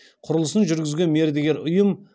құрылысын жүргізген мердігер ұйым